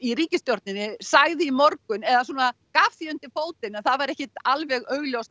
ríkisstjórninni sagði í morgun eða svona gaf því undir fótinn að það væri ekkert alveg augljóst